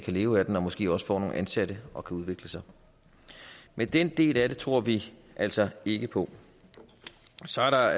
leve af den og måske også få nogle ansatte og kan udvikle sig men den del af det tror vi altså ikke på så er der